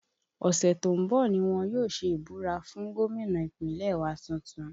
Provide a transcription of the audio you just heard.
Ọ̀sẹ̀ tó ń bọ̀ ni wọ́n yóò ṣe ìbúra fún gómìnà Ìpínlẹ̀ wa tuntun